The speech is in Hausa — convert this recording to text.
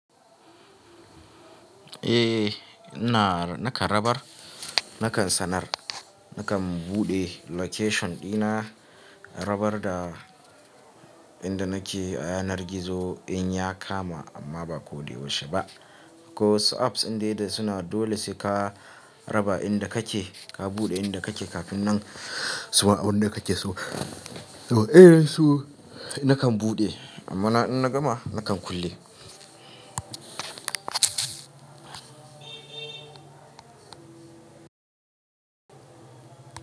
Eh, ina, na kan rabar, na kan sanar, na kan buɗe location ɗina, rabar da inda nake a yanar gizo in ya kama amma ba ko da yaushe ba. Ko su apps din dai da suna dole sai ka raba inda kake, ka buɗe inda kake kafin nan su ma'a inda kake so. To, irin su na kan buɗe amma in na gama na kan kulle.